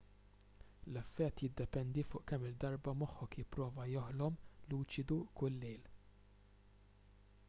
l-effett jiddependi fuq kemm-il darba moħħok jipprova joħlom luċidu kull lejl